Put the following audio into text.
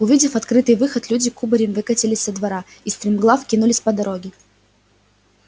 увидев открытый выход люди кубарем выкатились со двора и стремглав кинулись по дороге